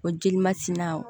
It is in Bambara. O jeli ma sina o